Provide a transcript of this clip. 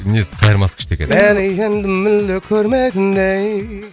несі қайырмасы күшті екен